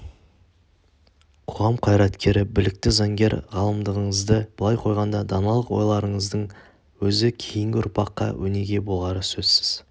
қоғам қайраткері білікті заңгер ғалымдығыңызды былай қойғанда даналық ойларыңыздың өзі кейінгі ұрпаққа өнеге болары сөзсіз